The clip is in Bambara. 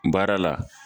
Baara la